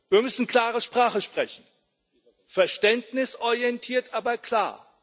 Wir müssen klare Sprache sprechen verständnisorientiert, aber klar.